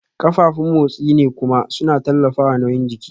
Kafafun motsi ne kuma suna tallafawa nauyin jiki